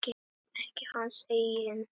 Ekki hans eigin.